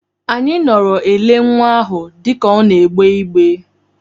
Anyị nọọrọ ele nwa ahụ dịka ọ na-egbe igbe.